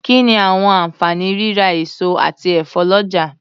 Kí ni àwọn àǹfààní rírà èso àti ẹ̀fọ́ lọ́jà.